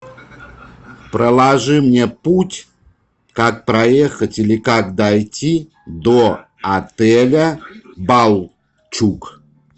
проложи мне путь как проехать или как дойти до отеля балчуг